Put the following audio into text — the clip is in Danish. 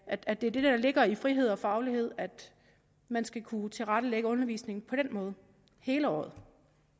at det er det der ligger i frihed og faglighed at man skal kunne tilrettelægge undervisningen på den måde hele året